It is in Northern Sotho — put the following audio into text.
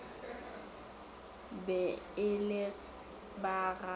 be e le ba ga